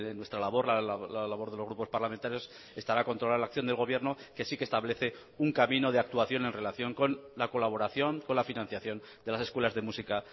nuestra labor la labor de los grupos parlamentarios estará controlar la acción del gobierno que sí que establece un camino de actuación en relación con la colaboración con la financiación de las escuelas de música